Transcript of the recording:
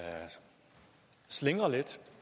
sige at